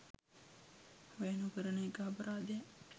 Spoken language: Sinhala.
වැය නොකරන එක අපරාධයක්.